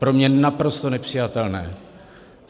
Pro mě naprosto nepřijatelné.